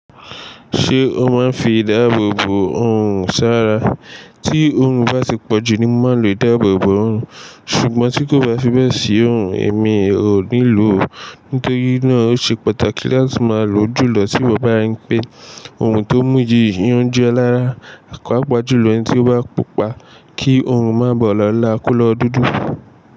Ṣé o máa ń fi ìdáàbò bò òòrùn sára? Tí òòrùn bá ti pọ̀jù ni mo máa ń lò ìdáàbò bò òòrùn, ṣùgbọ́n tí kò bá fi bẹ́ẹ̀ sí òòrùn, èmi ò nílò ò. Nítorí náà o ṣe pàtàkì láti máa lò ó jùlọ tí mo bá rí pé òòrùn tó mú yi òun jo e lára, pàpa jùlọ ẹni tí ó bá pupa kí òòrùn má ba lọ́la kó lọ dúdú.